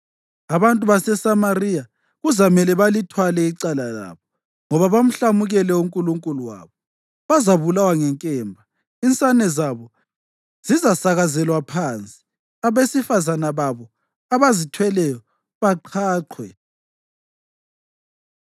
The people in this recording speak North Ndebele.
Abantu baseSamariya kuzamela balithwale icala labo, ngoba bamhlamukele uNkulunkulu wabo. Bazabulawa ngenkemba; insane zabo zizasakazelwa phansi, abesifazane babo abazithweleyo baqhaqhwe.”